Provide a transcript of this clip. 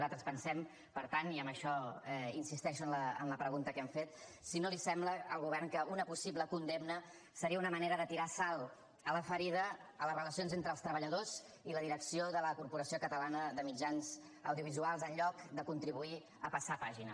nosaltres pensem per tant i amb això insisteixo en la pregunta que hem fet si no li sembla al govern que una possible condemna seria una manera de tirar sal a la ferida a les relacions entre les treballadors i la direcció de la corporació catalana de mitjans audiovisuals en lloc de contribuir a passar pàgina